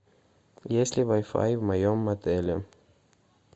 есть ли вай фай в моем отеле